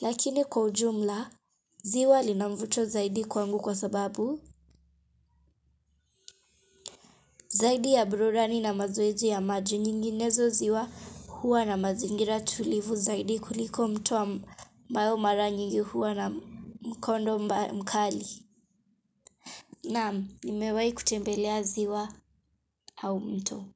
Lakini kwa ujumla, ziwa linamvuto zaidi kwangu kwa sababu zaidi ya burudani na mazoezi ya maji nyinginezo ziwa huwa na mazingira tulivu zaidi kuliko mto ambao mara nyingi huwa na mkondo mkali. Naam, nimewai kutembelea ziwa au mto.